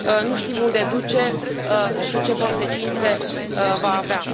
Nu știm unde duce și ce consecințe va avea.